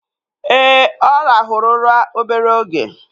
Ee, ọ rahụru ụra obere oge